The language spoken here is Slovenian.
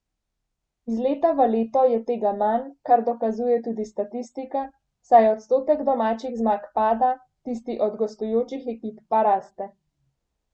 Iz leta v leto je tega manj, kar dokazuje tudi statistika, saj odstotek domačih zmag pada, tisti od gostujočih ekip pa raste.